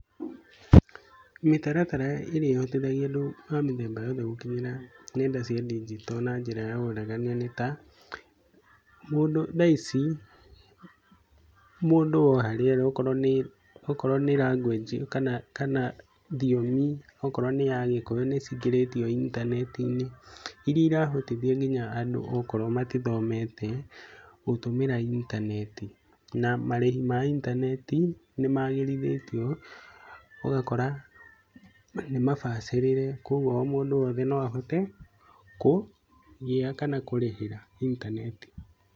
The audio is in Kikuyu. Mĩtaratara ĩrĩa ĩhotithagia andũ a mĩthemba yothe gũkinyĩra nenda cia ndigito na njira ya waragania nĩ ta, mũndũ thaa ici mũndũ o harĩ arĩ okorwo nĩ language kana thiomi okorwo nĩ ya gĩkũyũ nĩcĩngĩrĩtio intaneti-inĩ, iria ĩrahotithia nginya andũ okorwo matithomete gũtũmĩra intaneti, na marĩhi ma intaneti nĩ magĩrĩthĩtio, ũgakora ni mabacĩrĩre kogwo o mũndũ o wothe no ahote kũgĩa kana kũrĩhĩra intaneti.